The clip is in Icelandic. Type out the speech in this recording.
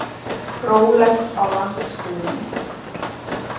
Rólegt á landsbyggðinni